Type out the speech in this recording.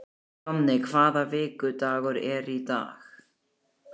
Jonni, hvaða vikudagur er í dag?